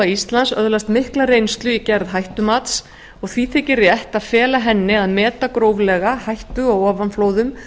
íslands öðlast mikla reynslu í gerð hættumats og því þykir rétt að fela henni að meta gróflega hættu á ofanflóðum